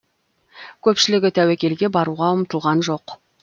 көпшілігі тәуекелге баруға ұмтылған жоқ